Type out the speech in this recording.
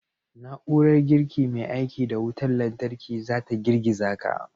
Na'urar girki mai aiki da wutar lantarki za ta girgiza ka.